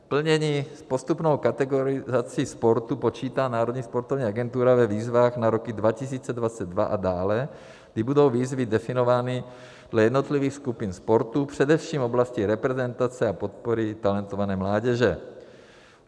Plnění - s postupnou kategorizací sportu počítá Národní sportovní agentura ve výzvách na roky 2022 a dále, kdy budou výzvy definovány dle jednotlivých skupin sportu, především v oblasti reprezentace a podpory talentované mládeže.